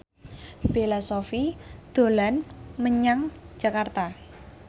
Bella Shofie dolan menyang Jakarta